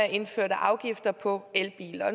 indførte afgifter på elbiler